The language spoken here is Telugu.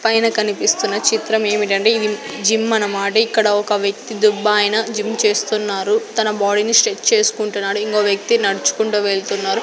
పైన కనిపిస్తున్న చిత్రం ఏమిటంటే ఇది జిమ్ అన్నమాట ఇక్కడ ఒక వ్యక్తి దుబ్బాయన జిమ్ చేస్తున్నారు తన బాడీని స్ట్రెచ్ చేస్కుంటున్నాడు ఇంగో వ్యక్తి నడుచుకుంటూ వెళ్తున్నారు.